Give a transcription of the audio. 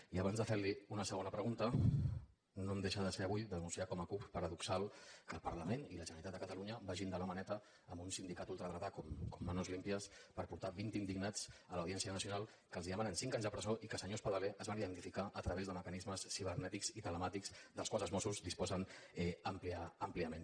i abans de fer li una segona pregunta no em deixa de ser avui denunciar ho com a cup paradoxal que el parlament i la generalitat de catalunya vagin de la maneta amb un sindicat ultradretà com manos limpias per portar vint indignats a la audiència nacional que els demanen cinc anys de presó i que senyor espadaler es van identificar a través de mecanismes ciber nètics i telemàtics dels quals els mossos disposen àmpliament